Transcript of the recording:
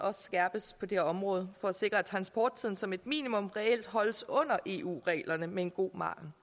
skærpes på det område for at sikre at transporttiden som et minimum reelt holdes under eu reglerne med en god margen